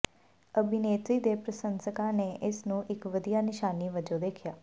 ਅਭਿਨੇਤਰੀ ਦੇ ਪ੍ਰਸ਼ੰਸਕਾਂ ਨੇ ਇਸ ਨੂੰ ਇਕ ਵਧੀਆ ਨਿਸ਼ਾਨੀ ਵਜੋਂ ਦੇਖਿਆ